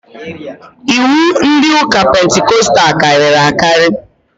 Iwu ndị ụka pentikostal karịrị akarị